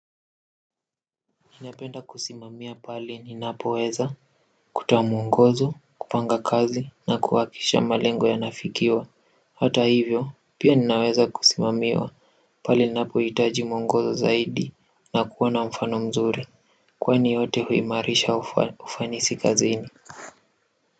Napenda kusimamia pali ninapo weza kutoa muongozo kupanga kazi na kuakisha malengo yanafikiwa hata hivyo pia ninaweza kusimamiwa pale ninapo hitaji muongozo zaidi na kuwa na mfano mzuri kwani yote huimarisha ufanisi kazini.